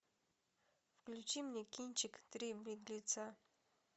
включи мне кинчик три беглеца